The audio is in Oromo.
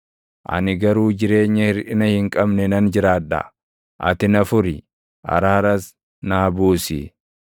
Ani garuu jireenya hirʼina hin qabne nan jiraadha; ati na furi; araaras naa buusi.